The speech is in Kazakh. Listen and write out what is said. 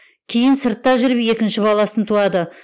кейін сыртта жүріп екінші баласын туады